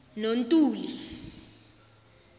nontuli